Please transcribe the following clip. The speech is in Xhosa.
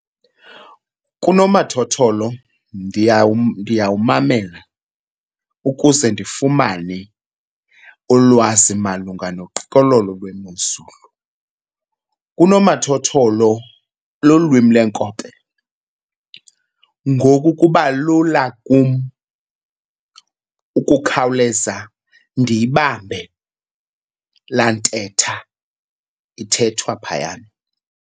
Kunomathotholo ndiyawumamela ukuze ndifumane ulwazi malunga noqikelelo lwemozulu. Unomathotholo lulwimi lweenkobe ngoku kuba lula kum ukukhawuleza ndiyibambe laa ntetha ithethwa phayana.